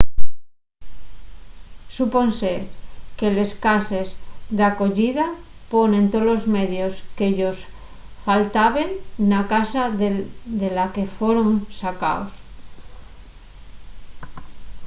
supónse que les cases d'acoyida ponen tolos medios que-yos faltaben na casa de la que foron sacaos